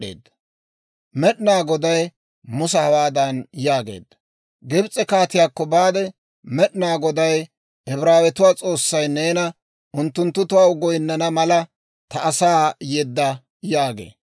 Med'inaa Goday Musa hawaadan yaageedda; «Gibs'e kaatiyaakko baade, ‹Med'inaa Goday, Ibraawetuwaa S'oossay neena, «Unttunttu taw goynnana mala ta asaa yedda» yaagee.